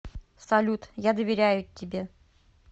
салют я доверяю тебе